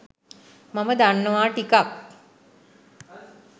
මම දන්නවා ටිකක්